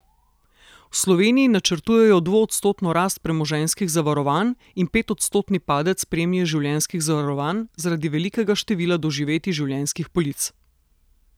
V Sloveniji načrtujejo dvoodstotno rast premoženjskih zavarovanj in petodstotni padec premije življenjskih zavarovanj zaradi velikega števila doživetij življenjskih polic.